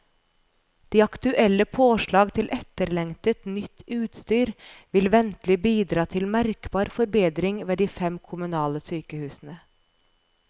De aktuelle påslag til etterlengtet, nytt utstyr vil ventelig bidra til merkbar forbedring ved de fem kommunale sykehusene.